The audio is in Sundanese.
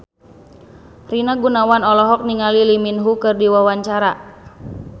Rina Gunawan olohok ningali Lee Min Ho keur diwawancara